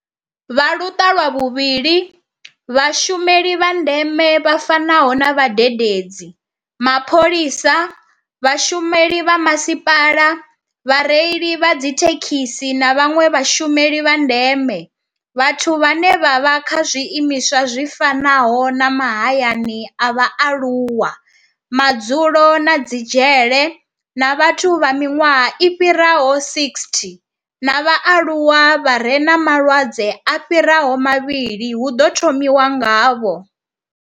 Kha Luṱa lwa vhuvhili, Vhashumeli vha ndeme vha fanaho na vhadededzi, mapholisa, vhashumeli vha masipala, vhareili vha dzithe khisi na vhanwe vhashumeli vha ndeme, vhathu vhane vha vha kha zwiimiswa zwi fanaho na mahayani a vhaaluwa, madzulo na dzi dzhele, na vhathu vha miṅwaha i fhiraho 60 na vhaaluwa vha re na malwadze a fhiraho mavhili hu ḓo thomiwa ngavho.